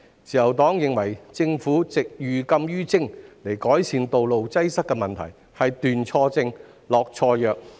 自由黨認為政府以寓禁於徵的方法改善道路擠塞的問題，是斷錯症、下錯藥。